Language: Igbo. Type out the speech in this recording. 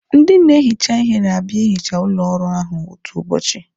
Ndị na-ehicha ihe na-abịa ihicha ụlọ ọrụ ahụ otu ụbọchị